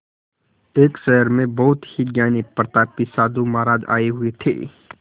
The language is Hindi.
एक शहर में बहुत ही ज्ञानी प्रतापी साधु महाराज आये हुए थे